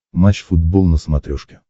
матч футбол на смотрешке